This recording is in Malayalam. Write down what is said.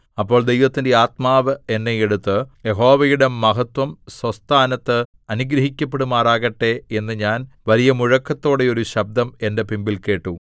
അപ്പോൾ ദൈവത്തിന്റെ ആത്മാവ് എന്നെ എടുത്തു യഹോവയുടെ മഹത്വം സ്വസ്ഥാനത്ത് അനുഗ്രഹിക്കപ്പെടുമാറാകട്ടെ എന്ന് ഞാൻ വലിയ മുഴക്കത്തോടെ ഒരു ശബ്ദം എന്റെ പിമ്പിൽ കേട്ടു